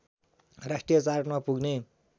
राष्ट्रिय चार्टमा पुग्ने